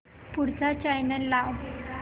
पुढचा चॅनल लाव